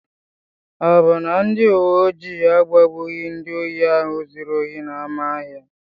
Ọ bụ na ndị uwe ojii agbagbughị ndị ohi ahụ zuru ohi n'ámá ahịa?